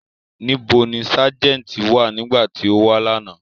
Nibo ni Sájẹ̀ntì wa nigbati o wa lana?